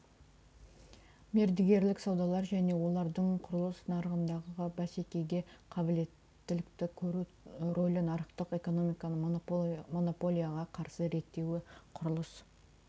мердігерлік саудалар және олардың құрылыс нарығындағы бәсекеге қабілеттілікті құру рөлі нарықтық экономиканы монополияға қарсы реттеуі құрылыс